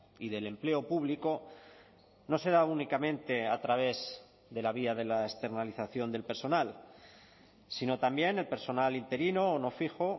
y del empleo público no se da únicamente a través de la vía de la externalización del personal sino también el personal interino o no fijo